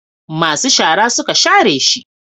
masu shara suka share shi